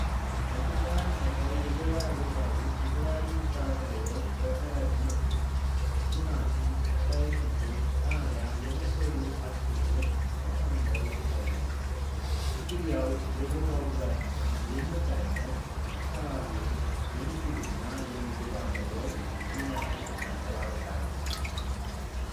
በተጨናነቀ የገበያ ቦታ ውስጥ፣ የተለያዩ ጥራጥሬዎች በከረጢት፣ እና ቲማቲም፣ ቀይ ሽንኩርትና ቃሪያ የመሰሉ አትክልቶች ተከምረው ይታያሉ፤ እንግዲያው፣ የቦታው ብዛትና የምርት አይነት የአካባቢውን የንግድና የምግብ አቅርቦት ምን ያህል ያንጸባርቃል?